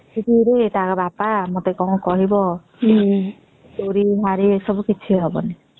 ତାଙ୍କ ବାପା ମତେ କଣ କହିବ ଚୋରି ନାରୀ ଏ ସବୁ ହବନି